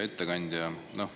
Hea ettekandja!